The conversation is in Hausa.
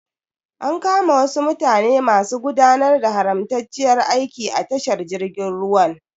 An kama wasu mutane masu gudanar da haramtacciyar aiki a tashar jirgin ruwan.